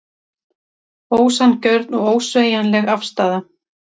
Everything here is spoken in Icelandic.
Ósanngjörn og ósveigjanleg afstaða